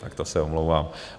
Tak to se omlouvám.